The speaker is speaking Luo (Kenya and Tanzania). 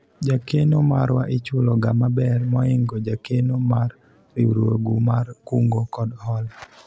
jakeno marwa ichulo ga maber moingo jakeno mar riwruogu mar kungo kod hola